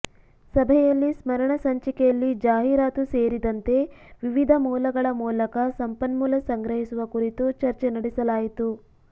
ಸಭೆಯಲ್ಲಿ ಸ್ಮರಣ ಸಂಚಿಕೆಯಲ್ಲಿ ಜಾಹೀರಾತು ಸೇರಿದಂತೆ ವಿವಿಧ ಮೂಲಗಳ ಮೂಲಕ ಸಂಪನ್ಮೂಲ ಸಂಗ್ರಹಿಸುವ ಕುರಿತು ಚರ್ಚೆ ನಡೆಸಲಾಯಿತು